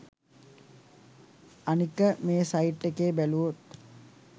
අනික මේසයිට් එකේ බැලුවොත්